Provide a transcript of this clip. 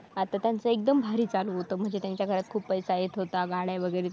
आता त्यांचं एकदम भारी चालू होतं म्हणजे त्यांच्या घरात खूप पैसा येत होता. गाड्या वगैरे